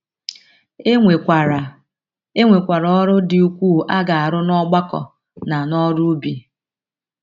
E nwekwara E nwekwara ọrụ dị ukwuu a ga - arụ n’ọgbakọ na n’oru ubi.